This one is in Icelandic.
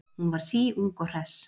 Hún var síung og hress.